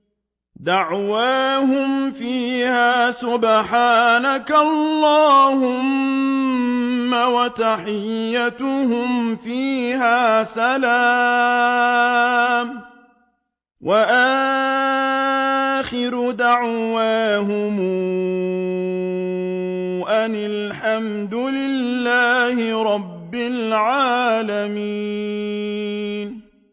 دَعْوَاهُمْ فِيهَا سُبْحَانَكَ اللَّهُمَّ وَتَحِيَّتُهُمْ فِيهَا سَلَامٌ ۚ وَآخِرُ دَعْوَاهُمْ أَنِ الْحَمْدُ لِلَّهِ رَبِّ الْعَالَمِينَ